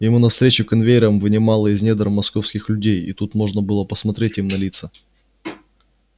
ему навстречу конвейером вынимало из недр московских людей и тут можно было посмотреть им на лица